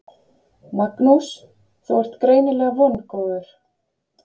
Magnús: Þú ert greinilega vongóður?